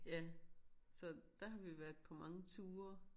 Ja så der har vi været på mange ture